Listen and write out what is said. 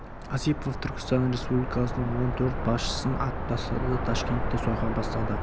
осипов түркістан республикасының он төрт басшысын атып тастады да ташкентте сойқан бастады